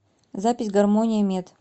запись гармония мед